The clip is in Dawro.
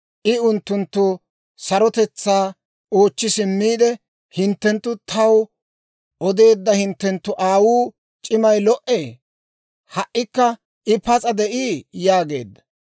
I unttunttu sarotetsaa oochchi simmiide, «Hinttenttu taw odeedda hinttenttu aawuu c'imay lo"ee? Ha"ikka I pas'a de'ii?» yaageedda.